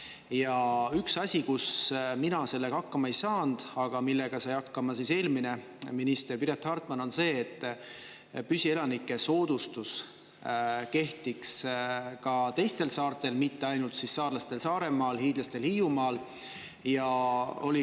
Ja üks asi, kus mina sellega hakkama ei saanud, aga millega sai hakkama eelmine minister Piret Hartman, on see, et püsielaniku soodustus kehtiks ka teistel saartel, mitte ainult saarlastele Saaremaal, hiidlastele Hiiumaal.